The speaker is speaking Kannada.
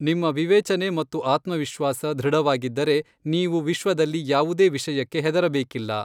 ನಿಮ್ಮ ವಿವೇಚನೆ ಮತ್ತು ಆತ್ಮವಿಶ್ವಾಸ ಧೃಡವಾಗಿದ್ದರೆ ನೀವು ವಿಶ್ವದಲ್ಲಿ ಯಾವುದೇ ವಿಷಯಕ್ಕೆ ಹೆದರಬೇಕಿಲ್ಲ.